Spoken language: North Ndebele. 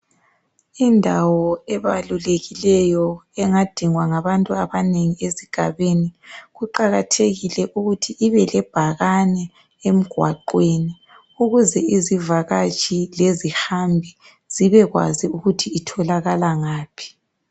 Indawo ebalulekileyo engadingwa ngabantu emphakathini kuqakathekile ukuba ibelebhakane emgwaqweni ukuze izivakatshi lezihambi zibekwazi ukuthi zitholakala ngaphi .